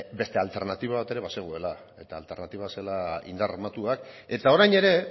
beste alternatiba bat ere bazegoela eta alternatiba zela indar armatua eta orain ere